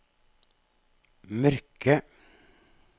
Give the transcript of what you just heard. mørke